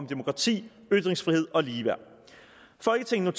demokrati ytringsfrihed og ligeværd folketinget